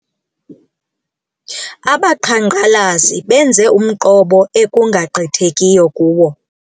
Abaqhankqalazi benze umqobo ekungagqithekiyo kuwo.